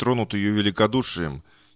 тронутые её великодушием